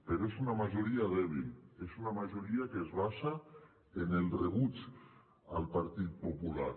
però és una majoria dèbil és una majoria que es basa en el rebuig al partit popular